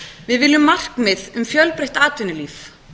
við viljum markmið um fjölbreytt atvinnulíf